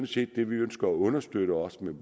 set det vi ønsker at understøtte og